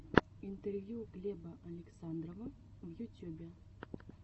интервью глеба александрова в ютюбе